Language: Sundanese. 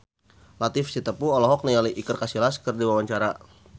Latief Sitepu olohok ningali Iker Casillas keur diwawancara